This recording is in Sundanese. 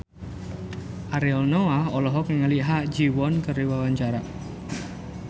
Ariel Noah olohok ningali Ha Ji Won keur diwawancara